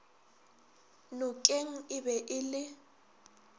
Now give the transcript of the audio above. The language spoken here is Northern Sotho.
nokeng e be e le